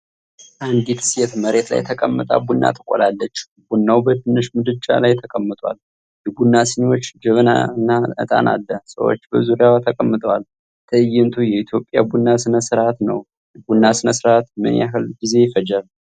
አንዲት ሴት መሬት ላይ ተቀምጣ ቡና ትቆላለች። ቡናው በትንሽ ምድጃ ላይ ተቀምጧል። የቡና ሲኒዎች፣ ጀበናና ዕጣን አለ። ሰዎች በዙሪያዋ ተቀምጠዋል። ትእይንቱ የኢትዮጵያ ቡና ሥነ ሥርዓት ነው። የቡና ሥነ ሥርዓት ምን ያህል ጊዜ ይፈጃል?